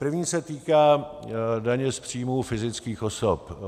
První se týká daně z příjmů fyzických osob.